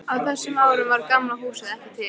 Á þessum árum var Gamla húsið ekki til.